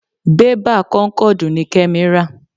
bébà kónkọ̀dù ni Kẹ́mi ra.